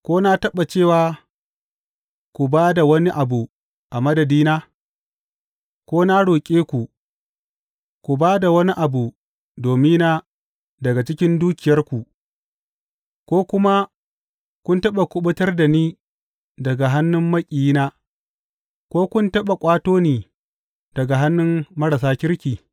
Ko na taɓa cewa, Ku ba da wani abu a madadina, ko na roƙe ku, ku ba da wani abu domina daga cikin dukiyarku, ko kuma kun taɓa kuɓutar da ni daga hannun maƙiyina, ko kun taɓa ƙwato ni daga hannun marasa kirki’?